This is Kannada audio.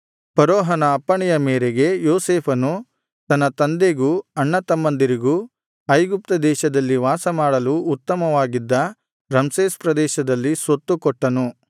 ಫರೋಹನ ಅಪ್ಪಣೆಯ ಮೇರೆಗೆ ಯೋಸೇಫನು ತನ್ನ ತಂದೆಗೂ ಅಣ್ಣತಮ್ಮಂದಿರಿಗೂ ಐಗುಪ್ತ ದೇಶದಲ್ಲಿ ವಾಸಮಾಡಲು ಉತ್ತಮವಾಗಿದ್ದ ರಮ್ಸೇಸ್ ಪ್ರದೇಶದಲ್ಲಿ ಸ್ವತ್ತು ಕೊಟ್ಟನು